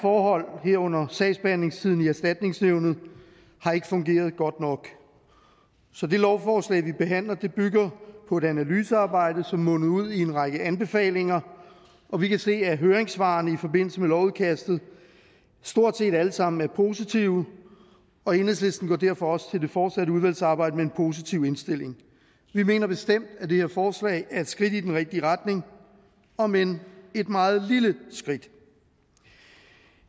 forhold herunder sagsbehandlingstiden i erstatningsnævnet har ikke fungeret godt nok så det lovforslag vi behandler bygger på et analysearbejde som mundede ud i en række anbefalinger og vi kan se at høringssvarene i forbindelse med lovudkastet stort set alle sammen er positive og enhedslisten går derfor også til det fortsatte udvalgsarbejde med en positiv indstilling vi mener bestemt at det her forslag er et skridt i den rigtige retning om end et meget lille skridt